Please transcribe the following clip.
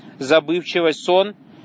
забывчивость сон